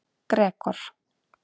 Gregor